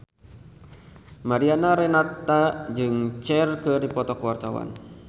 Mariana Renata jeung Cher keur dipoto ku wartawan